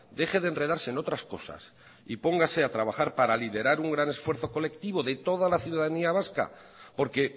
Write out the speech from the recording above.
deje de enredarse en otras cosas y póngase a trabajar para liderar un gran esfuerzo colectivo de toda la ciudadanía vasca porque